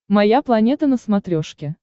моя планета на смотрешке